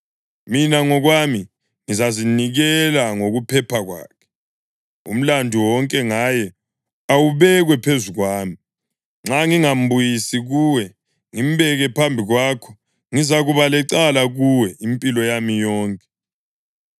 Mina ngokwami ngizazinikela ngokuphepha kwakhe; umlandu wonke ngaye awubekwe phezu kwami. Nxa ngingambuyisi kuwe ngimbeke phambi kwakho, ngizakuba lecala kuwe impilo yami yonke.